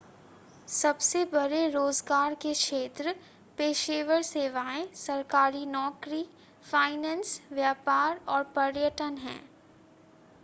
सबसे बड़े रोज़गार के क्षेत्र पेशेवर सेवाएं सरकारी नौकरी फ़ाइनेंस व्यापार और पर्यटन हैं